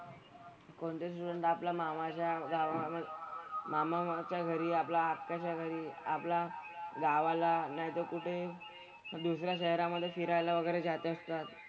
कोणते student आपला मामाच्या गावामधे मामाच्या घरी आपला आत्याच्या घरी आपला गावाला नाहीतर कुठे दुसऱ्या शहरामधे फिरायला वगैरे जात असतात.